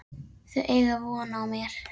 Þau eiga von á mér.